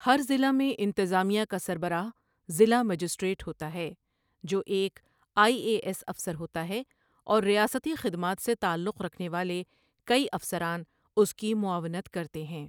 ہر ضلع میں انتظامیہ کا سربراہ ضلع مجسٹریٹ ہوتا ہے، جو ایک آئی اے ایس افسر ہوتا ہے اور ریاستی خدمات سے تعلق رکھنے والے کئی افسران اس کی معاونت کرتے ہیں۔